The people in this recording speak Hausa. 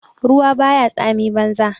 Ruwa ba ya tsami banza.